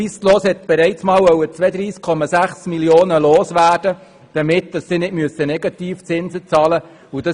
Swisslos wollte bereits einmal 32,6 Mio. Franken loswerden, damit keine Negativzinsen bezahlt werden müssen.